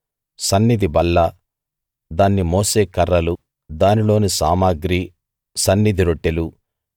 సన్నిధి బల్ల దాన్ని మోసే కర్రలు దానిలోని సామగ్రి సన్నిధి రొట్టెలు